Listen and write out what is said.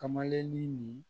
Kamalennin nin